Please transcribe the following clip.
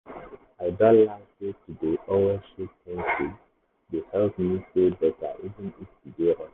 i don learn sey to dey always say 'thank you' dey help me feel better even if the day rough.